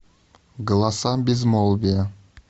голоса безмолвия